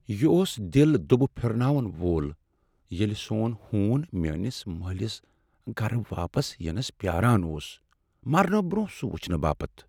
یہ اوس دل دُبہٕ پھرناون وول ییلہِ سون ہوٗن میٲنِس مٲلِس گرٕ واپس یِنس پیاران اوس مرنہٕ برونہہ سُہ وُچھنہٕ باپت ۔